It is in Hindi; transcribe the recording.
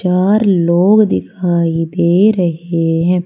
चार लोग दिखाई दे रहे हैं।